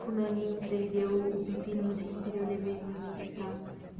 Fulaninho prendeu o pipi no zíper e eu levei no hospital.